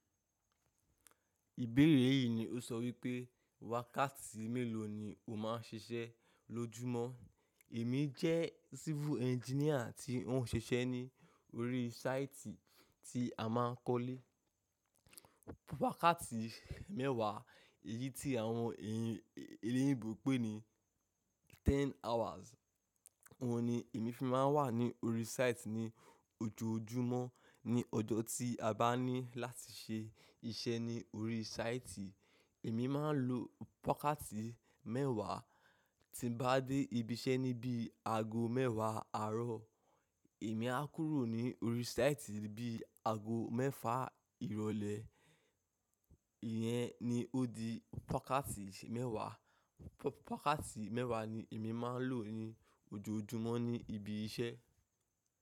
Ìbéèrè yìí ni ó sọ wípé wákàtí mélòó ni o má ń ṣiṣẹ́ lójúmọ́? Èmi jẹ́ civil engineer tí ń ṣiṣẹ́ ní orí sáìtì tí a máa ń kọ́lé. Wákàtí mẹ́wàá, èyí tí àwọn ènìyàn èléyìnbò n pè ní ten hours, òun ni èmi fi máa ń wà ní orí sáìtì ní ojoojúmọ́. Ni ọjọ́ tí a bá ní láti ṣe iṣẹ́ ní orí sáìtì, èmi máa ń lo wákátì mẹ́wàá. Tí bá dé ibi iṣẹ́ ní bí i àago mẹ́wàá àárọ̀, èmi á kúrò ní orí sáìtì bí i àago mẹ́fà ìrọ̀lẹ́. Ìyẹn ni ó di pákátì mẹ́wàá. Pákátì mẹ́wàá ni èmi máa ń lò ní ojoojúmọ́ ní ibi iṣẹ́.